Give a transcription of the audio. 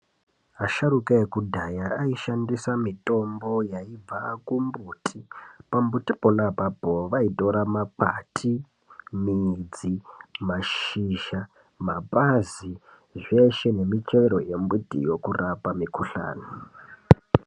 Asharuka ekudhaya aishandisa mitombo yaibva kumbuti pambuti pona apapo vaitora makwati midzi mashizha mapazi zveshe nemichero yembiti yekurapa mukhuhlani